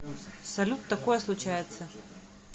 салют такое случается